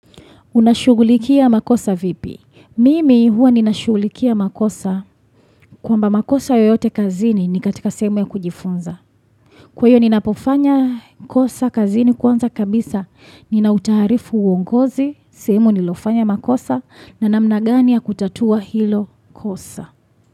Unashugulikia makosa vipi? Mimi huwa ninashugulikia makosa kwa mba makosa yoyote kazini ni katika sehemu ya kujifunza. Kwa hio ninapofanya kosa kazini kwanza kabisa ninautaharifu uongozi, sehemu nililofanya makosa na namna gani ya kutatua hilo kosa.